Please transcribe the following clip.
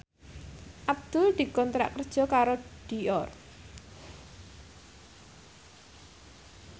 Abdul dikontrak kerja karo Dior